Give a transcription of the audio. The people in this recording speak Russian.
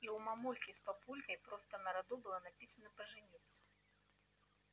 и у мамульки с папулькой просто на роду было написано пожениться